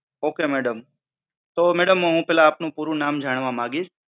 okay madam. તો madam હુ પહેલા આપનું પૂરું નામ જાણવા માંગીશ.